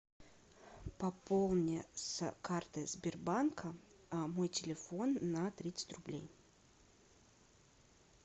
пополни с карты сбербанка мой телефон на тридцать рублей